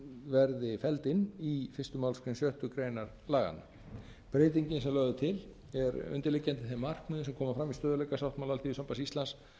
verði felld inn í fyrstu málsgrein sjöttu grein laganna breytingin sem lögð er til er undirliggjandi þeim markmiðum sem koma fram í stöðugleikasáttmála alþýðusambands íslands